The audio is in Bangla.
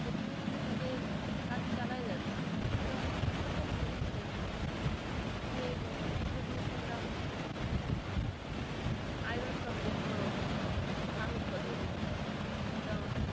অতিনিয়ত তাদের কাজ চালায় যাচ্ছে এবং সফলও হচ্ছে যে সেইদিনই শুনলাম iron সমৃদ্ধ ধান উদপাদন হচ্ছে তো